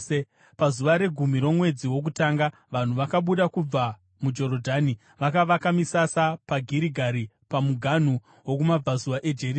Pazuva regumi romwedzi wokutanga, vanhu vakabuda kubva muJorodhani vakavaka misasa paGirigari pamuganhu wokumabvazuva eJeriko.